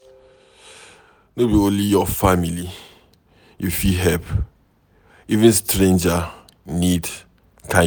No be only your family you fit help, even stranger need kindness.